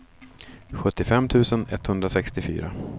sjuttiofem tusen etthundrasextiofyra